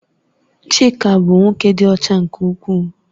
Chika bụ nwoke dị ọcha nke ukwuu